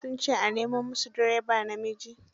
Duk sun ce a nemo musu direba namiji